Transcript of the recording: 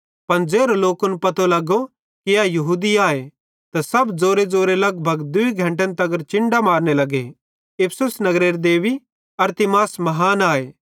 पन ज़ेरो लोकन पतो लगो कि ए यहूदी आए त सब ज़ोरेज़ोरे लगभग दूई घंटन तगर चिन्डां मारने लग्गे इफिसुस नगरेरे देबी अरतिमिस महान आए